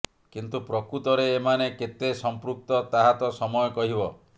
କିନ୍ତୁ ପ୍ରକୃତରେ ଏମାନେ କେତେ ସଂପୃକ୍ତ ତାହା ତ ସମୟ କହିବ